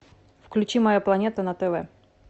включи моя планета на тв